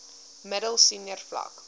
middel senior vlak